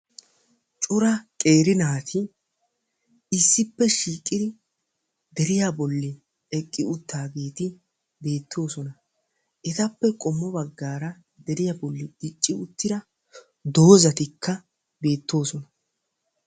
Cora qeeri naato deiya bolla issippe kaa'iyagetti beetosonna. Etta matan keehippe daro doozzatti de'osonna.